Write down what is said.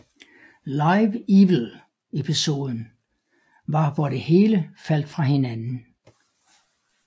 Live Evil episoden var hvor det hele faldt fra hinanden